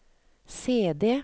CD